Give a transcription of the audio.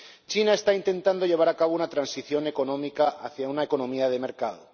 China está intentando llevar a cabo una transición económica hacia una economía de mercado.